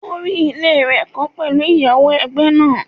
O rí ilé rẹ̀ kọ́ pẹ̀lú ìyáwó ẹgbẹ́ náà.